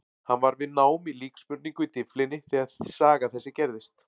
Hann var við nám í líksmurningu í Dyflinni þegar saga þessi gerðist.